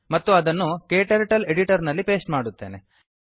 ಮತ್ತು ಅದನ್ನು ಕ್ಟರ್ಟಲ್ ಎಡಿಟರ್ ನಲ್ಲಿ ಪೇಸ್ಟ್ ಮಾಡುತ್ತೇನೆ